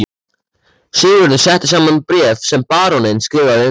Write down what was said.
Sigurður setti saman bréf sem baróninn skrifaði undir.